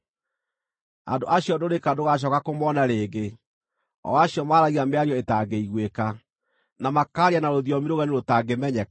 Andũ acio ndũrĩka ndũgacooka kũmona rĩngĩ, o acio maaragia mĩario ĩtangĩiguĩka, na makaaria na rũthiomi rũgeni rũtangĩmenyeka.